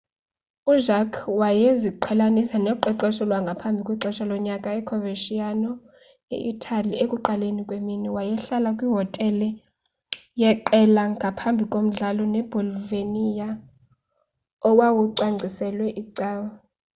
ujarque wayeziqhelanisa noqeqesho lwangaphambi kwexesha lonyaka e-coverciano e-itali ekuqaleni kwemini. wayehlala kwihotele yeqela ngaphambi komdlalo nebolonia owawucwangciselwe icawe